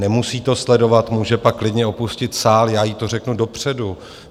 Nemusí to sledovat, může pak klidně opustit sál, já jí to řeknu dopředu.